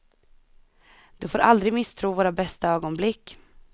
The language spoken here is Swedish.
Du får aldrig misstro våra bästa ögonblick.